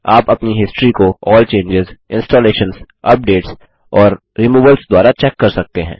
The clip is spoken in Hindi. आप अपनी हिस्ट्री को अल्ल चेंजों इंस्टॉलेशंस अपडेट्स और रिमूवल्स द्वारा चेक कर सकते हैं